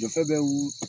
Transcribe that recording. Jɔ bɛ wili